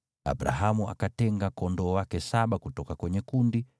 Abrahamu akatenga kondoo wa kike saba kutoka kwenye kundi,